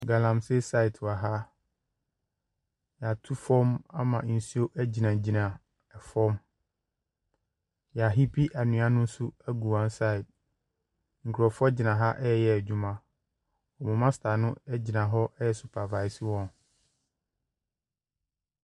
Galamsei sait wɔ ha. Yatu fɔm ama nsuo agyinagyina ɛfɔm. Yahiipi anwea no nso agu wansaid. Nkrɔfoɔ gyina ha ɛɛyɛ adwuma. Wɔn masta no ɛgyina ɛɛsupavaase wɔn.